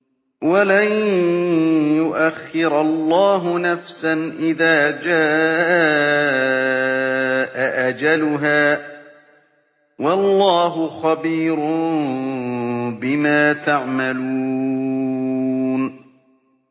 وَلَن يُؤَخِّرَ اللَّهُ نَفْسًا إِذَا جَاءَ أَجَلُهَا ۚ وَاللَّهُ خَبِيرٌ بِمَا تَعْمَلُونَ